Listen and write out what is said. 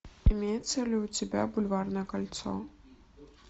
имеется ли у тебя бульварное кольцо